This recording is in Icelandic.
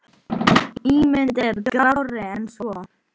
Þau eiga þrjá drengi.